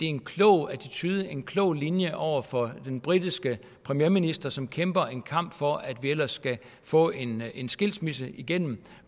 en klog attitude en klog linje over for den britiske premierminister som kæmper en kamp for at vi ellers skal få en skilsmisse igennem